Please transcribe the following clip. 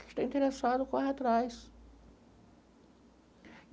Quem está interessado corre atrás.